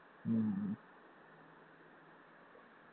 ഉം